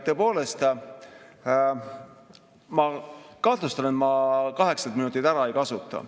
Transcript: Tõepoolest, ma kahtlustan, et ma kaheksat minutit ära ei kasuta.